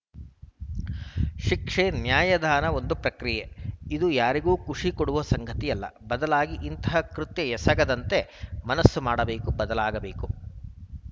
ಶಿಕ್ಷೆ ನ್ಯಾಯದಾನದ ಒಂದು ಪ್ರಕ್ರಿಯೆ ಇದು ಯಾರಿಗೂ ಖುಷಿ ಕೊಡುವ ಸಂಗತಿಯಲ್ಲ ಬದಲಾಗಿ ಇಂತಹ ಕೃತ್ಯ ಎಸಗದಂತೆ ಮನಸ್ಸು ಮಾಡಬೇಕು ಬದಲಾಗಬೇಕು